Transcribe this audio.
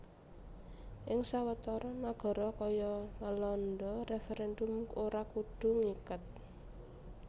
Ing sawetara nagara kaya Walanda referendum ora kudu ngiket